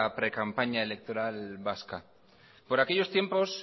precampaña electoral vasca por aquellos tiempos